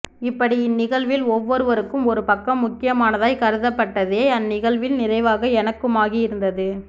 இப்படி இந்நிகழ்வில் ஒவ்வொருவருக்கும் ஒரு பக்கம் முக்கியமானதாய் கருதப் பட்டதே அந்நிகழ்வின் நிறைவாக எனக்குமாகியிருந்தது